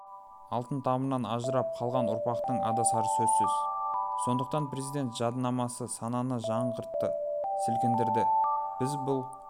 алтын тамырынан ажырап қалған ұрпақтың адасары сөзсіз сондықтан президент жадынамасы сананы жаңғыртты сілкіндірді біз бұл